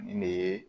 Nin de ye